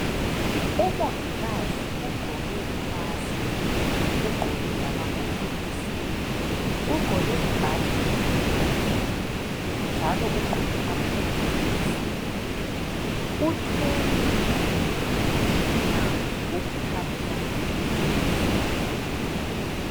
Umongikazi ugqoke imask ugqoke lamagogorosi. Ugqoke ibhatshi elimhlophe njalo ugqoke amagilovosi. Uthwele umtshina wokuthatha imithi.